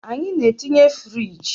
Anyị na-etinye firigi